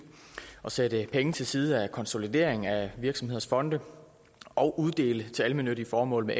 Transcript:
at sætte penge til side til konsolidering af virksomheders fonde og uddele til almennyttige formål med